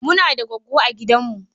Muna da goggo a gidanmu.